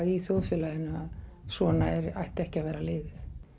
í þjóðfélaginu að svona ætti ekki að vera liðið